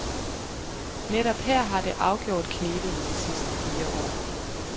Netop her har det afgjort knebet i de sidste fire år.